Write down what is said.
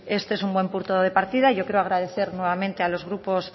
este es un buen punto de partida yo quiero agradecer nuevamente a los grupos